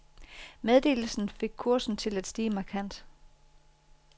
Meddelelsen fik kursen til at stige markant.